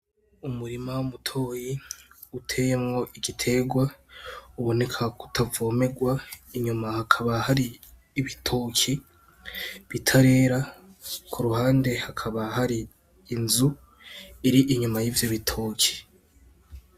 Umurima mutoyi uteyemwo igiterwa uboneka ko utavomerwa inyuma hakaba hari ibitoki bitarera kuruhande hakaba hari inzu iri inyuma yivyo bitoki.